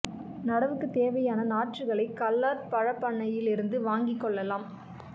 நடவுக்குத் தேவையான நாற்றுகளை கல்லார் பழப் பண்ணையிலிருந்து வாங்கிக் கொள்ளலாம்